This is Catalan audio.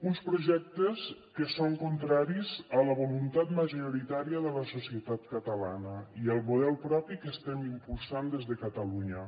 uns projectes que són contraris a la voluntat majoritària de la societat catalana i al model propi que estem impulsant des de catalunya